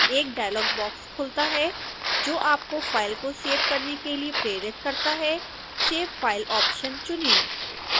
एक dialogue box खुलता है जो आपको फाइल को सेव करने के लिए प्रेरित करता है save file ऑप्शन चुनें